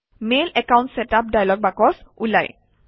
mail account setup dialog box ওলায়